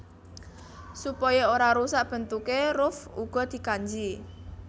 Supaya ora rusak bentukké ruff uga dikanji